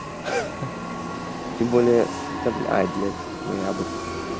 хах тем более то ой блять ноябрь